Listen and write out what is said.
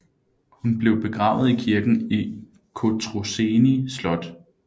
Hun blev begravet i kirken i Cotroceni Slot